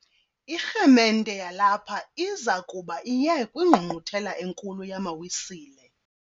Irhemente yalapha iza kuba iye kwingqungquthela enkulu yamaWisile.